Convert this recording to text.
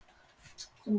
Þórhildur: Eðalvín?